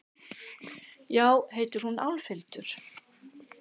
Já, heitir hún Álfhildur?